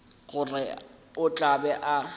gore o tla be a